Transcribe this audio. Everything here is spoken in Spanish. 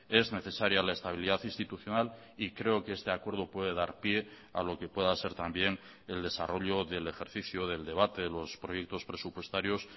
es necesaria la estabilidad institucional y creo que este acuerdo puede dar pie a lo que pueda ser también el desarrollo del ejercicio del debate de los proyectos presupuestarios